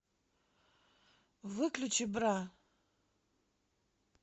выключи бра